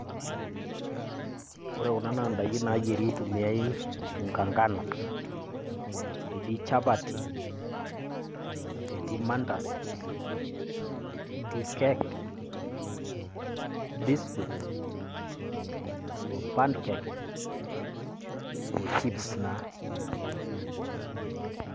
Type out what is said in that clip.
Ore kuna naa daikin nayieri itumiae unga ngano eti chapati etii mandazi etii cake biscuit oo pancake oo chips naa.